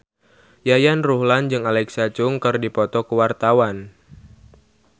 Yayan Ruhlan jeung Alexa Chung keur dipoto ku wartawan